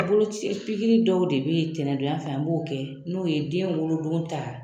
A boloci pikiri dɔw de bɛ yen tɛnɛndonya fɛ an b'o kɛ n'o ye den wolodon ta